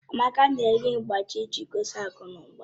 Amaka na-eyi mgbájí iji gosi akụnụba